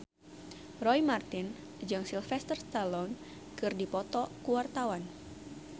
Roy Marten jeung Sylvester Stallone keur dipoto ku wartawan